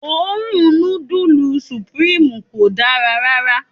Òórùn nudulu supirimu kò dá rárá.